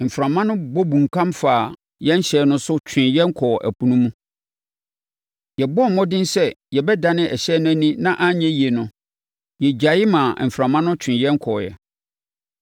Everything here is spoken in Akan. Mframa no bɔ bunkam faa yɛn ɛhyɛn no so twee no kɔɔ ɛpo no mu. Yɛbɔɔ mmɔden sɛ yɛbɛdane ɛhyɛn no ani na anyɛ yie no, yɛgyae maa mframa no twee no kɔeɛ.